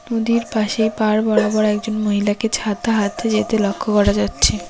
নদীর পাশে পার বরাবর একজন মহিলাকে ছাতা হাতে যেতে লক্ষ করা যাচ্ছে।